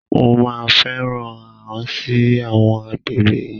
Mo máa fẹ́ rán an ẹ sí àwọn akegbẹ́ rẹ